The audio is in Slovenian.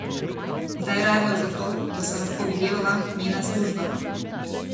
Zdaj je razlog za to, da se lahko videvava, njena služba.